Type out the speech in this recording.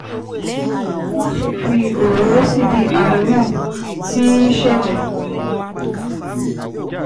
Máṣe fi òróró síbi tí ààrùn náà tii ṣẹjẹ